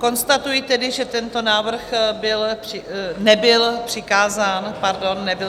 Konstatuji tedy, že tento návrh nebyl přikázán dalšímu výboru.